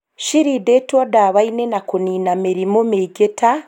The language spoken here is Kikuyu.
Cirindĩtwo ndawa-inĩ ya kũnina mĩrĩmũ mĩingĩ ta